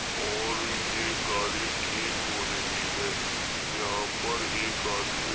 और ये गाड़ी ठीक हो रही है। यहां पर एक आदमी --